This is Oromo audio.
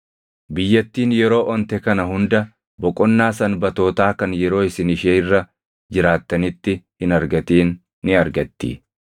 Biyyattiin yeroo onte kana hunda boqonnaa sanbatootaa kan yeroo isin ishee irra jiraattanitti hin argatin ni argatti.